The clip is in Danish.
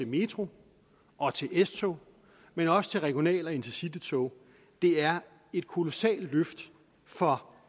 metro og til s tog men også til regional og intercitytog er et kolossalt løft for